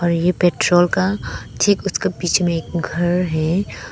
और ये पेट्रोल का ठीक उसके पीछे में एक घर है।